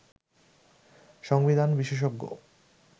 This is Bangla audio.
সংবিধান বিশেষজ্ঞ